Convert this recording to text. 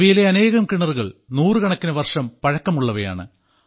ഇവയിലെ അനേകം കിണറുകൾ നൂറുകണക്കിന് വർഷം പഴക്കമുള്ളവയാണ്